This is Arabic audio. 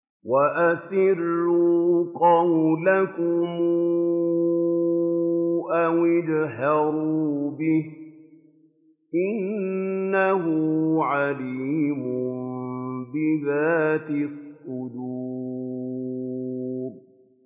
وَأَسِرُّوا قَوْلَكُمْ أَوِ اجْهَرُوا بِهِ ۖ إِنَّهُ عَلِيمٌ بِذَاتِ الصُّدُورِ